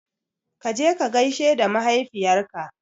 Kaje ka gaishe da mahaifiyar ka